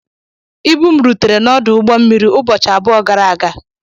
Ibu m rutere n'ọdụ ụgbọ mmiri ụbọchị abụọ gara aga